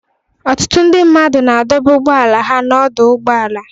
Ọtụtụ ndị mmadụ na-adọba ụgbọala ha n'ọdọ ụgbọala